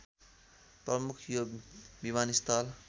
प्रमुख यो विमानस्थल